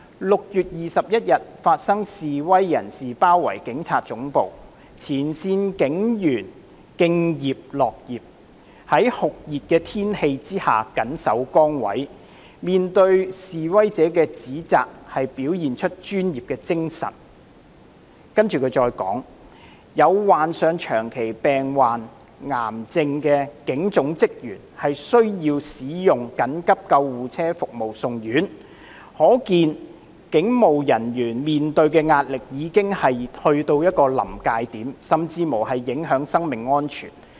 6月21日發生示威人士包圍警察總部，前線警員敬業樂業，在酷熱天氣下緊守崗位，面對示威者的指責表現出專業精神，更有患上長期病患、癌症的警總職員需要使用緊急救護車服務送院，可見警務人員面對的壓力已經到達一個臨界點，甚至影響生命安全。